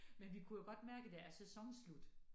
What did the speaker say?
Men vi kunne jo godt mærke der er sæsonen slut